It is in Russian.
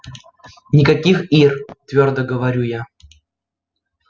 никаких ир твёрдо говорю я